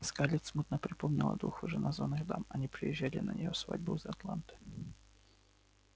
скарлетт смутно припомнила двух вышеназванных дам они приезжали на её свадьбу из атланты